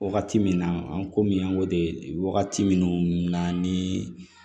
Wagati min na an ko min an ko de wagati minnu na ni